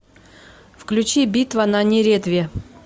включи битва на неретве